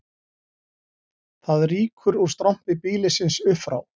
Það rýkur úr strompi býlisins upp frá